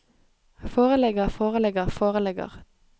foreligger foreligger foreligger